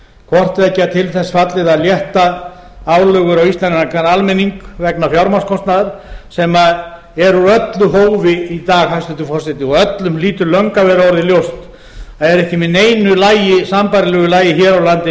hvorttveggja til þess fallið að létta álögur á íslenskan almenning vegna fjármagnskostnaðar sem er úr öllu hófi i dag hæstvirtur forseti og öllum hlýtur löngu að vera orðið ljóst að er ekki með neinu sambærilegu lagi hér á landi eins